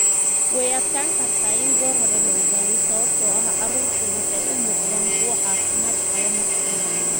Way adkaan kartaa in goor hore la ogaado sababtoo ah carruurtu waxay u muuqdaan kuwo caafimaad qaba marka hore.